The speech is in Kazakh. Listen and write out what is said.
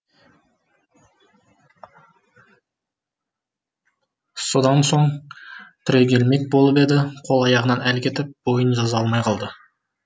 содан соң түрегелмек болып еді қол аяғынан әл кетіп бойын жаза алмай қалды